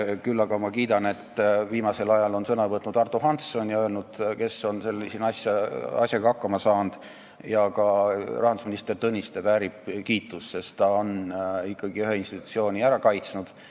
Küll aga ma kiidan seda, et viimasel ajal on sõna võtnud Ardo Hansson ja öelnud, kes on asjaga hakkama saanud, ja ka rahandusminister Tõniste väärib kiitust, sest ta on ikkagi ühe institutsiooni ära kaitsnud.